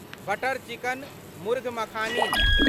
butter chicken murgh makhani